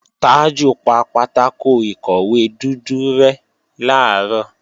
Tájù pa pátákò ìkọ̀wé dúdú rẹ́ làárọ̀